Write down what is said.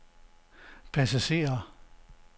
passagerer